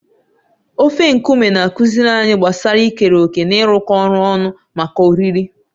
Ofe nkume na-akụziri anyị gbasara ikere òkè na ịrụkọ ọrụ ọnụ maka oriri.